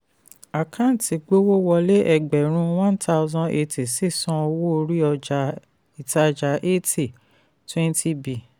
àkántì gbówó wọlé ẹgbẹ̀rún one thousand eighty sísan owó orí ìtajà eighty twenty b